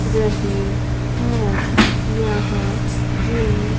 रही है यहां जिम --